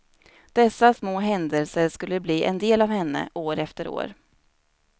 Dessa små händelser skulle bli en del av henne, år efter år.